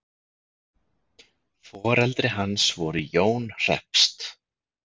foreldri hans voru jón hreppst